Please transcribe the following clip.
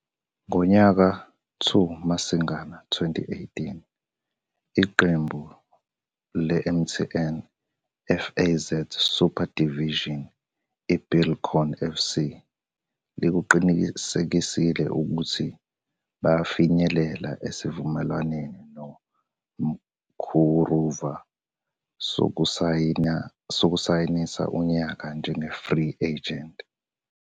Ngomhlaka-2 Masingana 2018,iqembu le- MTN, FAZ Super Division iBuildcon FC likuqinisekisile ukuthi bafinyelele esivumelwaneni noMkuruva sokusayinisa unyaka njenge-free agent.